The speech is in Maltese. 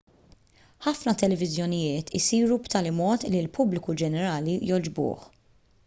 ħafna televiżjonijiet isiru b'tali mod li l-pubbliku ġenerali jogħġbuh